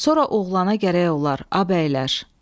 Sonra oğlana gərək olar, a bəylər.